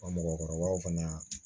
Wa mɔgɔkɔrɔbaw fana